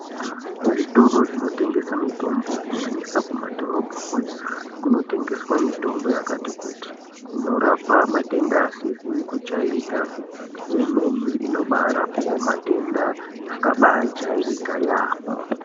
Zvitoro zvinotengesa mitombo kunyanyisa kumadhorobhako kunotengeswa mitombo yakati kuti inorapa matenda asizi kujairikapi neimweni inobaarapao matenda akabaajairika yaampho.